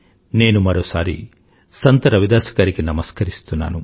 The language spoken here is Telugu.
నేనుమరోసారిసంత్రవిదాస్గారికినమస్కరిస్తున్నాను